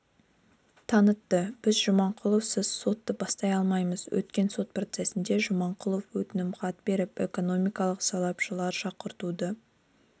танытты біз жаманқұловсыз сотты бастай алмаймыз өткен сот процесінде жаманқұлов өтінімхат беріп экономикалық сарапшылар шақыртуды